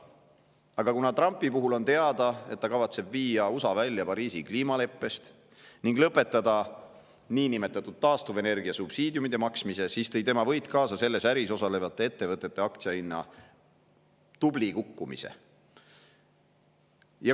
Aga kuna on teada, et Trump kavatseb viia USA välja Pariisi kliimaleppest ning lõpetada taastuvenergia subsiidiumide maksmise, siis tõi tema võit kaasa selles äris osalevate ettevõtete aktsia hinna tubli kukkumise.